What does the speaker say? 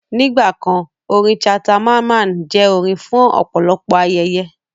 Nígbà kan, orin Ṣhata Mamman jẹ́ orin fún ọ̀pọ̀lọpọ̀ ayẹyẹ